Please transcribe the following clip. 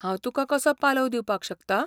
हांव तुका कसो पालव दिवपाक शकतां?